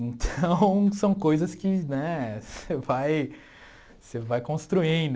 Então, são coisas que né você vai você vai construindo.